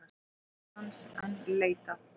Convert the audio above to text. Kennarans enn leitað